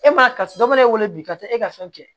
E ma karisa dɔ b'e wele bi ka taa e ka fɛn kɛ